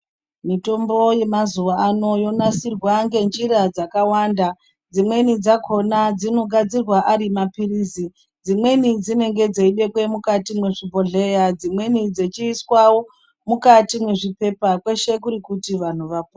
Mitombo yemazuva ano yonasirwa ngenjira dzakawanda dzimweni dzakona dzino gadzirwa ari mapirizi dzimweni dzenenga dzeibekwe mukati mwezvibhehleya dzimweni dzechiiswawo mukati mwezvipepa kwese kuti kuti vantu vapone.